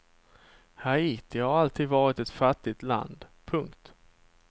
Haiti har alltid varit ett fattigt land. punkt